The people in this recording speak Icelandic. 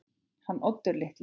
Hann Oddur litli?